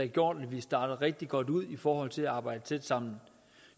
gjort at vi starter rigtig godt ud i forhold til at arbejde tæt sammen